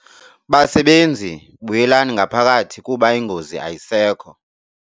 Basebenzi! Buyelani ngaphakathi kuba ingozi ayisekho.